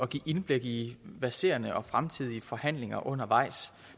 give indblik i verserende og fremtidige forhandlinger undervejs